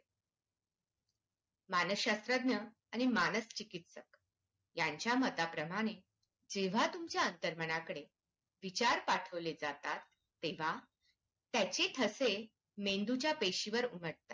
मानसशास्त्रज्ञ आणि मानकचिकित्सक यांच्या मताप्रमाणे जेव्हा तुमच्या अंतर्मनाकडे विचार पाठवले जातात तेव्हा त्याचे ठसे मेंदूच्या पेशीवर उमठतात.